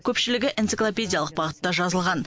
көпшілігі энциклопедиялық бағытта жазылған